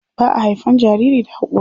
Ba a haifan jariri da hakori.